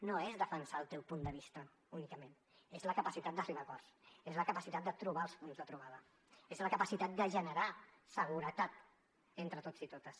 no és defensar el teu punt de vista únicament és la capacitat d’arribar a acords és la capacitat de trobar els punts de trobada és la capacitat de generar seguretat entre tots i totes